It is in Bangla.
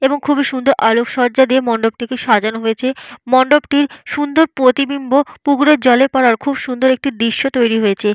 এবং খুবই সুন্দর আলোক সজ্জা দিয়ে মণ্ডপটিকে সাজানো হয়েছে। মণ্ডপটির সুন্দর প্রতিবিম্ব পুকুরের জলে পড়ার খুব সুন্দর একটি দৃশ্য তৈরি হয়েছে।